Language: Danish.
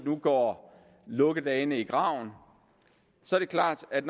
nu går lukkedagene i graven så er det klart at